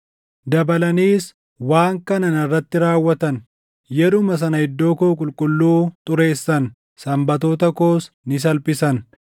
Dabalaniis waan kana narratti raawwatan: Yeruma sana iddoo koo qulqulluu xureessan; Sanbatoota koos ni salphisan.